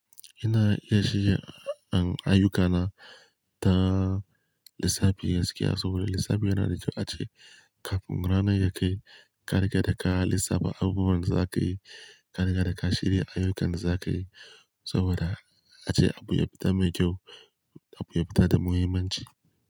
Ina iya shiga in ayyukana kaman lissafi gaskiya saboda lissafi yana da kyau ace kafin ranar da zaka yi, ka riƙe da ka lissafa abubuwan za ka yi, ka riga da ka shirya ayyukan da za ka yi saboda ace abu ya fita mai kyau, abu ya fita da muhimmanci.